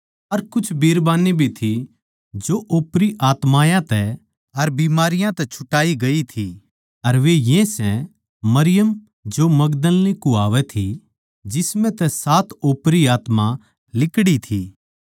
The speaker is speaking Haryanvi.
अर कुछ बिरबान्नी भी थी जो ओपरी आत्मायाँ तै अर बीमारियाँ तै छुटाई गई थी अर वे ये सै मरियम जो मगदलीनी कुह्वावै थी जिसम्ह तै सात ओपरी आत्मा लिकड़ी थी